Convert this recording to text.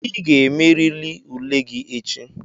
Ị ga-emerịrị ule gị echi!